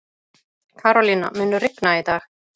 Karolína, mun rigna í dag?